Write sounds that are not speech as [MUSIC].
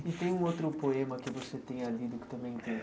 E tem [SNIFFS] um outro poema que você tenha lido, que também tenha